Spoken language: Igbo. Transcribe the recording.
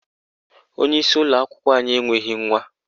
Onyeisi ụlọakwụkwọ anyị enweghị nwa.